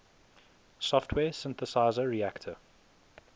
software synthesizer reaktor